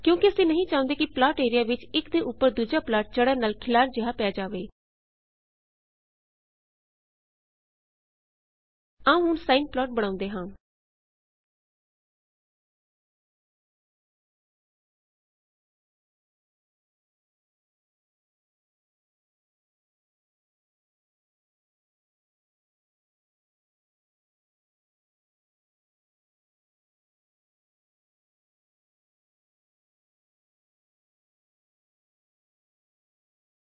ਕਿਉਂਕਿ ਅਸੀਂ ਨਹੀ ਚਾਹੁੰਦੇ ਕਿ ਪਲਾਟ ਏਰਿਆ ਵਿੱਚ ਇਕ ਦੇ ਉੱਪਰ ਦੂੱਜਾ ਪਲਾਟ ਚੜ੍ਨ ਨਾਲ ਖਿਲਾਰ ਜਿਹਾ ਪੈ ਜਾਵੇ ਅਸੀਂ ਇਸਨੂੰ clf ਨਾਲ ਕਲੀਅਰ ਕਰ ਦੇਵਾਂਗੇ